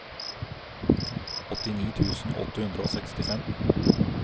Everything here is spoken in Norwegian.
åttini tusen åtte hundre og sekstifem